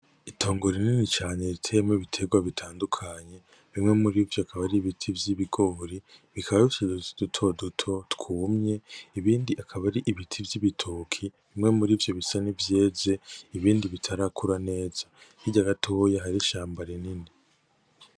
Itongo rinini cane riteyemwo ibiterwa bitandukanye. Bimwe muri vyo bikaba ari ibiti vy'ibigori, bikaba bifise uduti duto duto, twumye. Ibindi akaba ari ibiti vy'ibitoke, bimwe murivyo bisa n'ivyeze, ibindi bitarakura neza, Hirya gatoya hariho ishamba rinini.